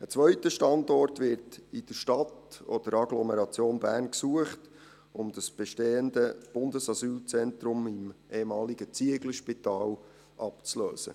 Ein zweiter Standort wird in der Stadt oder Agglomeration Bern gesucht, um das bestehende Bundesasylzentrum im ehemaligen Zieglerspital abzulösen.